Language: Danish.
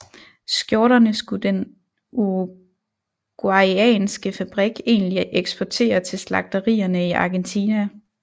Skjorterne skulle den uruguayanske fabrik egentlig eksportere til slagterierne i Argentina